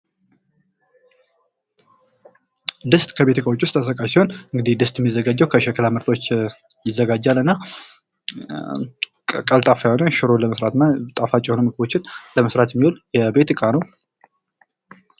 ድስት ከቤት እቃዎች ውስጥ ተጠቃሽ ሲሆን እንግዲህ ድስት የሚዘጋጀው ከሸክላ ምርቶች ይዘጋጃል እና ቀልጣፋ የሆነ ሽሮን ለመስራትና ጣፋጭ የሆኑ ምግቦችን ለመስራት የሚውል የቤት ዕቃ ነው ።